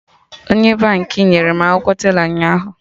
Onye Baankị nyere m akwụkwọ tela ụnyaahụ